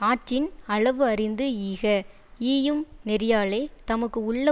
ஆற்றின் அளவு அறிந்து ஈக ஈயும் நெறியாலே தமக்கு உள்ள